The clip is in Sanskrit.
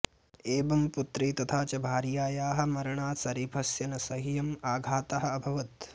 एवं पुत्री तथा च भार्यायाः मरणात् शरीफस्य न सह्यम् आघातः अभवत्